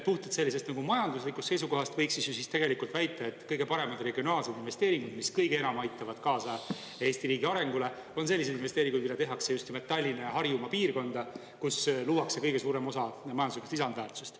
Puhtalt sellisest majanduslikust seisukohast võiks väita, et kõige paremad regionaalsed investeeringud, mis kõige enam aitavad kaasa Eesti riigi arengule, on selliseid investeeringuid, mida tehakse just nimelt Tallinna ja Harjumaa piirkonda, kus luuakse kõige suurem osa majanduslikust lisandväärtusest.